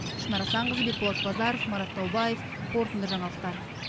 шынар асанқызы бекболат базаров марат таубаев қорытынды жаңалықтар